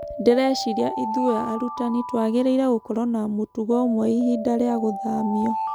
Ndĩreciria ithue arutani twagĩrĩ-ire gũkoro na mũtugo umwe ihinda rĩa gũthamio.